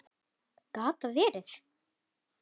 Gat það verið.?